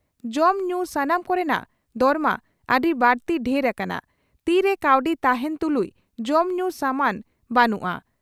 ᱡᱚᱢ ᱧᱩ ᱥᱟᱱᱟᱢ ᱠᱚᱨᱮᱱᱟᱜ ᱫᱚᱨᱢᱟ ᱟᱹᱰᱤ ᱵᱟᱹᱲᱛᱤ ᱰᱷᱮᱨ ᱟᱠᱟᱱᱟ, ᱛᱤ ᱨᱮ ᱠᱟᱹᱣᱰᱤ ᱛᱟᱦᱮᱸᱱ ᱛᱩᱞᱩᱡ ᱡᱚᱢ ᱧᱩ ᱥᱟᱢᱟᱱ ᱵᱟᱹᱱᱩᱜᱼᱟ ᱾